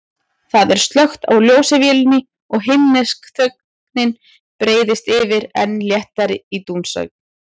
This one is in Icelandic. Það er slökkt á ljósavélinni og himnesk þögnin breiðist yfir, enn léttari en dúnsængin.